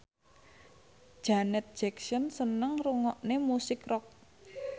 Janet Jackson seneng ngrungokne musik rock